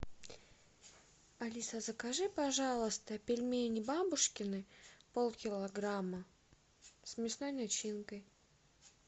алиса закажи пожалуйста пельмени бабушкины полкилограмма с мясной начинкой